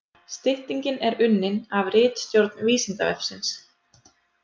Styttingin er unnin af ritstjórn Vísindavefsins.